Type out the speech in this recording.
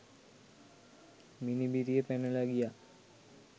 මිනිබිරිය පැනලා ගියා